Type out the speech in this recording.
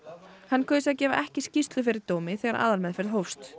hann kaus að gefa ekki skýrslu fyrir dómi þegar aðalmeðferð hófst